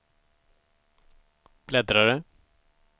bläddrare